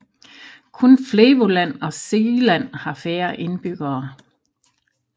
Kun Flevoland og Zeeland har færre indbyggere